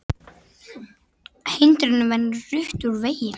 Hindrunum verið rutt úr vegi